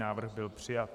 Návrh byl přijat.